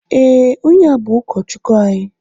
Ee, ónyé a bú ukọchukwu anyị.